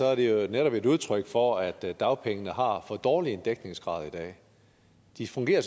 er det jo netop et udtryk for at dagpengene har for dårlig dækningsgrad i dag de fungerer